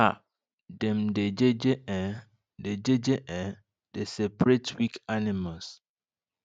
um dem dey jeje um dey jeje um dey separate weak animals